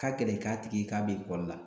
Ka gɛlɛ k'a tigi ye k'a be ekɔli la